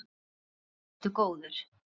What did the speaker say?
Þá ertu góður.